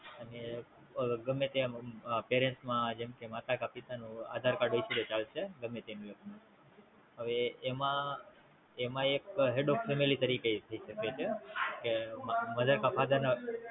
અને ગમે તે Parents માં જેમ કે માતા કા પિતા નુ આધાર કાર્ડ હશે તો ચાલશે ગેમ તેનું એકનું, હવે એમાં એમ એક Head of family તરીકે લઇ શકે છે કે Mother કા Father ના